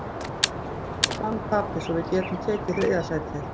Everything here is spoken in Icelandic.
Við vonum bara að Fram tapi svo við getum tekið þriðja sætið.